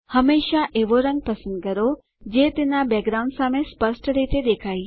હંમેશા એવો રંગ પસંદ કરો જે તેનાં બેકગ્રાઉન્ડ સામે સ્પષ્ટ રીતે દેખાય